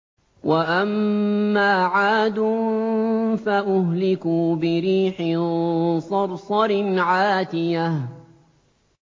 وَأَمَّا عَادٌ فَأُهْلِكُوا بِرِيحٍ صَرْصَرٍ عَاتِيَةٍ